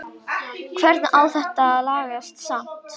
Hvernig á þetta að lagast samt??